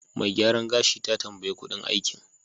Mai gyaran gashi ta tambaye kuɗin aikin.